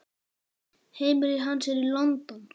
Heimili hans er í London.